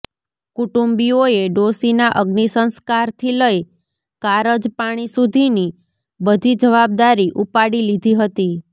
કુટુંબીઓએ ડોશીના અગ્નિસંસ્કારથી લઈ કારજપાણી સુધીની બધી જવાબદારી ઉપાડી લીધી હતી